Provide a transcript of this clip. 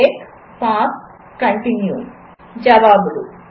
break pass continue ఇక జవాబులు